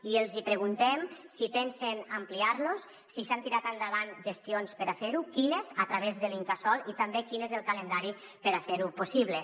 i els hi preguntem si pensen ampliar los si s’han tirat endavant gestions per a fer ho quines a través de l’incasòl i també quin és el calendari per a fer ho possible